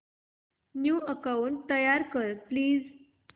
new account तयार कर please